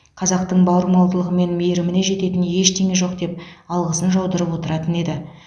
қазақтың бауырмалдығы мен мейіріміне жететін ештеңе жоқ деп алғысын жаудырып отыратын еді